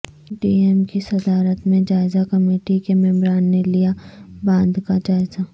D M کی صدارت میں جائزہ کمیٹی کے ممبران نے لیا باندھ کا جائزہ